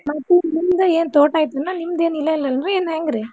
ಮತ್ ಏನ್ ನಿಮ್ದು ಏನ್ ತೋಟ ಐತೆನೊ ನಿಮ್ದ್ ಏನ್ ಇಲ್ಲ ಇಲ್ಲನ್ರೀ ಇನ್ನ್ ಹೆಂಗ್ರೀ.